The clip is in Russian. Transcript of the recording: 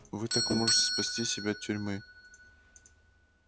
вы так можете спасти себя от тюрьмы